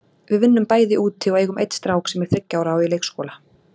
Við vinnum bæði úti og eigum einn strák sem er þriggja ára og í leikskóla.